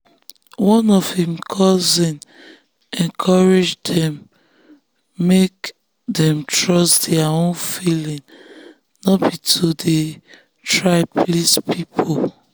one of im cousin encourage dem make dem trust their own feeling no be to dey dey try please people.